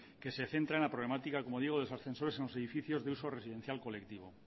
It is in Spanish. que se centra en la problemática como digo de los ascensores en los edificios de uso residencial colectivo